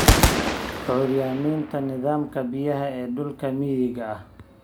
Curyaaminta nidaamka biyaha ee dhulka miyiga ah.